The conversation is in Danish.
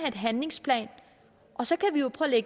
en handlingsplan og så kan vi jo prøve at